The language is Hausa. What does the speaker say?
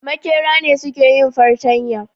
Makera ne suke yin fartanya